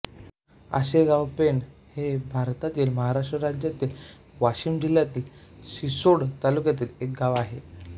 आसेगावपेण हे भारतातील महाराष्ट्र राज्यातील वाशिम जिल्ह्यातील रिसोड तालुक्यातील एक गाव आहे